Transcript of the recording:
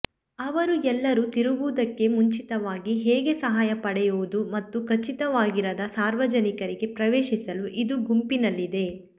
ಅವರು ಎಲ್ಲರೂ ತಿರುಗುವುದಕ್ಕೆ ಮುಂಚಿತವಾಗಿ ಹೇಗೆ ಸಹಾಯ ಪಡೆಯುವುದು ಮತ್ತು ಖಚಿತವಾಗಿರದ ಸಾರ್ವಜನಿಕರಿಗೆ ಪ್ರವೇಶಿಸಲು ಇದು ಗುಂಪಿನಲ್ಲಿದೆ